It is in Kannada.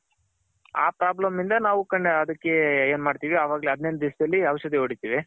ಆ Problem ಇಂದ ನಾವು ಅದಕ್ಕೆ ಏನ್ ಮಾಡ್ತಿವಿ ಅವಾಗ್ಲೇ ಹದಿನೆಂಟ್ ದಿವಸದಲ್ಲಿ ಔಷದಿ ಹೊಡಿತಿವಿ.